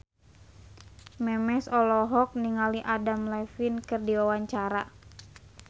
Memes olohok ningali Adam Levine keur diwawancara